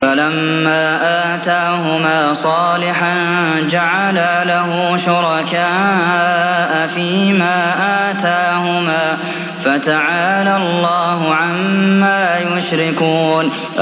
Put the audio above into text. فَلَمَّا آتَاهُمَا صَالِحًا جَعَلَا لَهُ شُرَكَاءَ فِيمَا آتَاهُمَا ۚ فَتَعَالَى اللَّهُ عَمَّا يُشْرِكُونَ